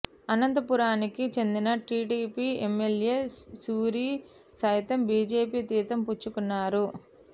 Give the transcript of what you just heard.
అనంతపురానికి చెందిన TDP MLA Suri సైతం BJP తీర్థం పుచ్చుకున్నారు